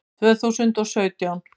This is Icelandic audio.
Tvö þúsund og sautján